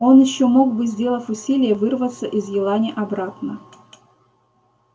он ещё мог бы сделав усилие вырваться из елани обратно